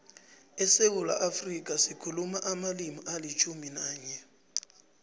esewula afrika sikhuluma amalimi alitjhumi nanye